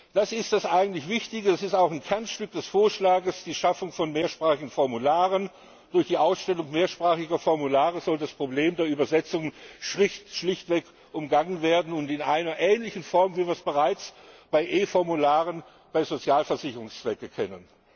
Das ist das eigentlich Wichtige, es ist auch ein Kernstück des Vorschlags die Schaffung von mehrsprachigen Formularen. Durch die Ausstellung mehrsprachiger Formulare soll das Problem der Übersetzungen schlichtweg umgangen werden in einer ähnlichen Form, wie wir es bereits bei E Formularen bei Sozialversicherungszwecken kennen.